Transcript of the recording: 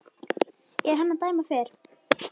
er hann dæma fer